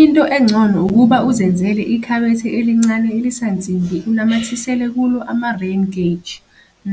Into engcono ukuba uzenzela ikhabethe elincane elisansimbi unamathisele kulo ama-rain gauge